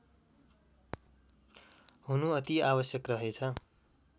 हुनु अति आवश्यक रहेछ